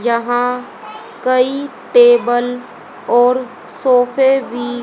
यहां कई टेबल और सोफे भी--